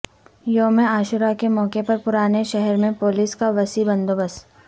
یوم عاشورہ کے موقع پر پرانے شہر میں پولیس کا وسیع بندوبست